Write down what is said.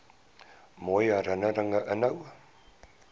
mooi herinnerings inhou